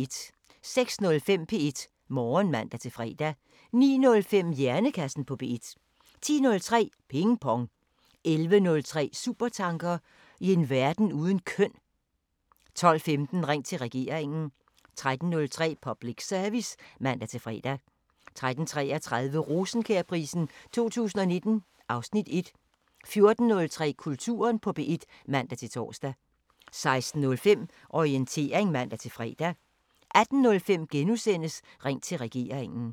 06:05: P1 Morgen (man-fre) 09:05: Hjernekassen på P1 10:03: Ping Pong 11:03: Supertanker: I en verden uden køn 12:15: Ring til Regeringen 13:03: Public Service (man-fre) 13:33: Rosenkjærprisen 2019 (Afs. 1) 14:03: Kulturen på P1 (man-tor) 16:05: Orientering (man-fre) 18:05: Ring til Regeringen *